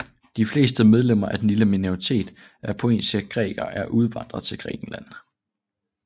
De fleste medlemmer af den lille minoritet af pontiske grækere er udvandret til Grækenland